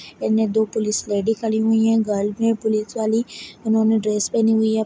इने दो police lady खड़ी हुई है गर्ल है पुलिस वाली उन्होंने ड्रेस पहनी हुई है ।